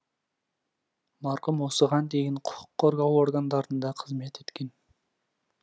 марқұм осыған дейін құқық қорғау органдарында қызмет еткен